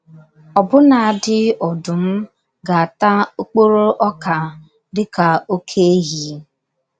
Ọbụnadi ọdụm ga - ata okporo ọka dị ka oké ehi....